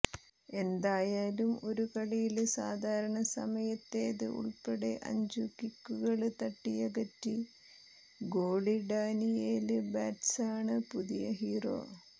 എന്തായാലും ഒരു കളിയില് സാധാരണ സമയത്തേത് ഉള്പ്പെടെ അഞ്ചു കിക്കുകള് തട്ടിയകറ്റി ഗോളി ഡാനിയേല് ബാറ്റ്സാണ് പുതിയ ഹീറോ